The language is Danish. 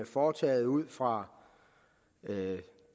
foretaget ud fra